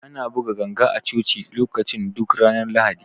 Ana buga ganga a Coci lokacin duk ranar Lahadi.